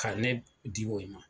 Ka ne di o yen ma